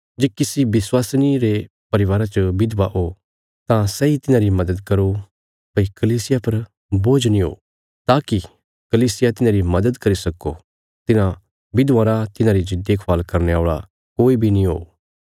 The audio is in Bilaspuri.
जे किसी विश्वासिनी रे परिवारा च विधवा हो तां सैई तिन्हांरी मद्‌द करो भई कलीसिया पर बोझ नीं हो ताकि कलीसिया तिन्हांरी मद्‌द करी सक्को तिन्हां विधवां रा तिन्हांरी जे देखभाल करने औल़ा कोई बी नीं हो